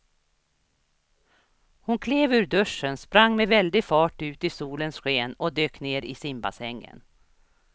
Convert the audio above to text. Hon klev ur duschen, sprang med väldig fart ut i solens sken och dök ner i simbassängen.